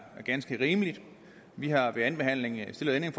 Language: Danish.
ganske rimeligt vi har ved andenbehandlingen stillet et